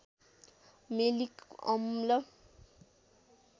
malic अम्ल